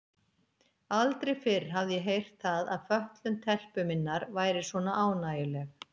Aldrei fyrr hafði ég heyrt það að fötlun telpu minnar væri svona ánægjuleg.